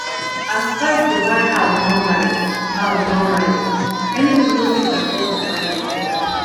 as price to buy house don rise house don rise many people no fit afford to buy again